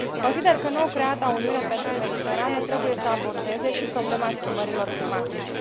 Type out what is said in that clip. Consider că nou creata Uniune pentru Mediterană trebuie să abordeze și problema schimbărilor climatice.